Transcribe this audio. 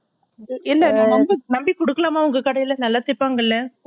இல்ல நா நம்பி நம்பி கொடுக்கலாமா உங்க கடைல நல்லா தைப்பாங்கள